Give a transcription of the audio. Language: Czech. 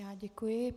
Já děkuji.